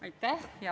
Aitäh!